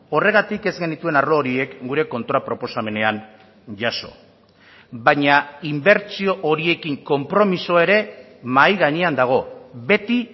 horregatik ez genituen arlo horiek gure kontra proposamenean jaso baina inbertsio horiekin konpromiso ere mahai gainean dago beti